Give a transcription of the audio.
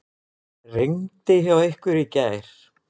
Rigndi hjá ykkur í gær?